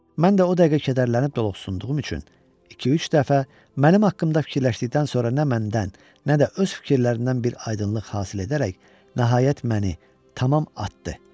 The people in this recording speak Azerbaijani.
Mən də o dəqiqə kədərlənib doluxsunduğum üçün, iki-üç dəfə mənim haqqımda fikirləşdikdən sonra nə məndən, nə də öz fikirlərindən bir aydınlıq hasil edərək, nəhayət məni tamam atdı.